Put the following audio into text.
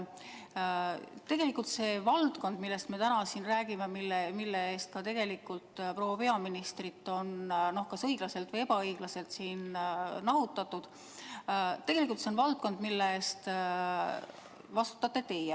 Tegelikult see valdkond, millest me täna siin räägime ja millega seoses on ka proua peaministrit kas õiglaselt või ebaõiglaselt siin nahutatud, on tegelikult valdkond, mille eest vastutate teie.